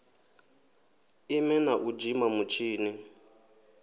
ime na u dzima mutshini